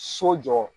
So jɔ